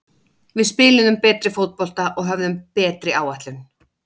Við spiluðum betri fótbolta og höfðum betri áætlun.